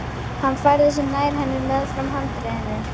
Hann færði sig nær henni meðfram handriðinu.